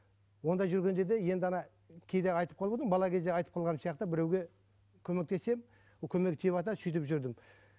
ондай жүрген жерде енді кейде айтып бала кезде айтып қалғаным сияқты біреуге көмектесемін көмегі тиіватады сөйтіп жүрдім